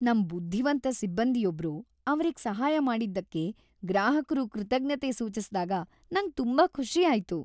ನಮ್ ಬುದ್ಧಿವಂತ ಸಿಬ್ಬಂದಿಯೊಬ್ರು ಅವ್ರಿಗ್ ಸಹಾಯ‌ ಮಾಡಿದ್ದಕ್ಕೆ ಗ್ರಾಹಕ್ರು ಕೃತಜ್ಞತೆ ಸೂಚಿಸ್ದಾಗ ನಂಗ್ ತುಂಬಾ ಖುಷಿ ಆಯ್ತು.